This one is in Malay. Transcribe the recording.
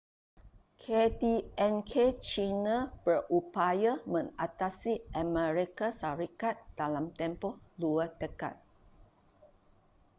kdnk china berupaya mengatasi amerika syarikat dalam tempoh dua dekad